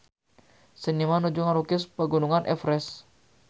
Seniman nuju ngalukis Pegunungan Everest